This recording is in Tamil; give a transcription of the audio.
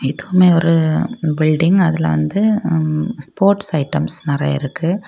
இதுவுமே ஒரு பில்டிங் அதுல வந்து ஸ்போர்ட்ஸ் ஐட்டம்ஸ் நெறைய இருக்கு.